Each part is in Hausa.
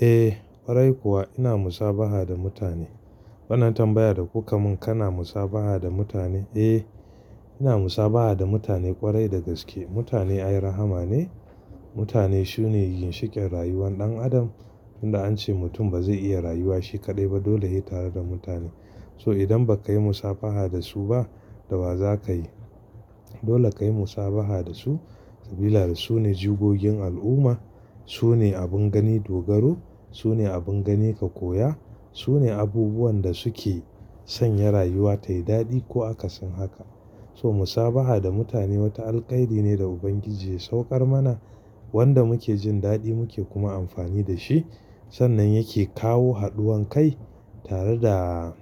Eh ƙwarai kuwa ina musabaha da mutane. Wannan tambaya da kuka mun kana musabaha da mutane. Eh ina musabaha da mutane ƙwarai da gaske. Mutane ai rahsma ne. Mutane sune ginshikin rayuwan dan Adam. Inda an ce mutum bazai iya rayuwa shi ƙaɗai ba dole he tare da mutane. So idan ba ka yi musabaha da su ba, da wa za ka yi? Dole ka yi musabaha da su. Sabida su ne jigogin al'umma. Su ne abin gani dogaro. Su ne abin gani ka koya. Su ne abubuwan da suke sanya rayuwa ta yi daɗi ko aka sin haka. So musabaha da mutane wata alkairi ne da Ubangiji ya saukar mana wanda muke jin daɗi muke kuma amfani da shi. Sannan yake kawo haduwan kai tare da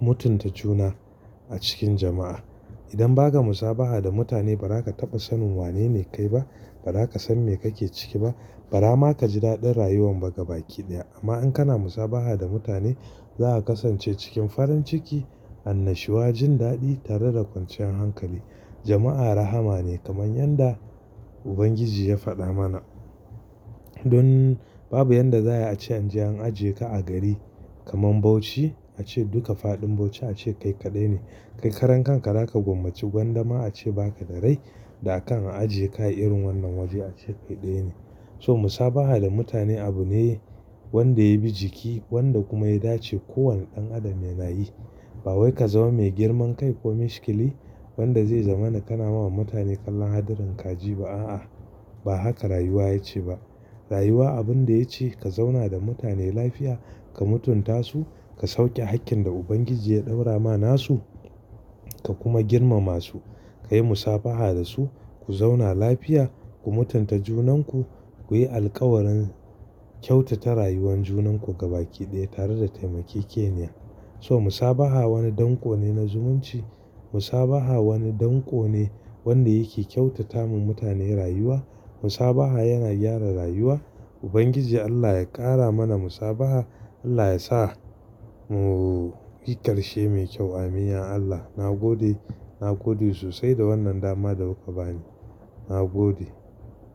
mutunta juna a cikin jama'a. Idan ba ka musabaha da mutane ba za ka taɓa sanin wanene kai ba. Ba za ka san me kake ciki ba. Bara ma ka ji daɗin rayuwan baga baki ɗaya. Amma in kana musabaha da mutane za a kasance cikin farin ciki, annashuwa, jin daɗi tare da kwanciyan hankali. Jama'a rahama ne kamar yanda Ubangiji ya faɗa mana. Don babu yanda za ai ace an je an ajiye ka a gari. Kaman Bauchi a ce duka faɗin Bauchi a ce kai kaɗai ne. Kai karan ka raka gwammaci gwanda ma a ce baka da rai da akan a ajiye ka irin wannan waje a ce kai ɗaya ne. So musabaha da mutane abu ne wanda ya bi jiki wanda kuma ya dace kowane ɗan adam yana yi. Ba wai ka zama mai girman kai ko mishkili wanda zai zama kana ma mutane kallon hadarin kaji ba a, a. Ba haka rayuwa ya ce ba. Rayuwa abin da ya ce ka zauna da mutane lafiya, ka mutunta su, ka sauke hakkin da Ubangiji ya ɗaura ma nasu. Ka kuma girmama su. Ka yi musabaha da su. Ku zauna lafiya. Ku mutunta junanku. Ku yi alƙawaran kyautata rayuwan junan ku gaba ɗaya tare da taimake ke niya. So musabaha wani danko ne na zumunci. Musabaha wani danko ne wanda yake kyautata ma mutane rayuwa. Musabaha yana gyara rayuwa. Ubangiji Allah ya ƙara mana musabaha. Allah ya sa mu yi karshe mai kyau. Amin ya Allah. Na gode. Na gode sosai da wannan dama da kuka bani. Na gode.